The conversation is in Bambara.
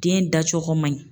Den dacogo man ɲi.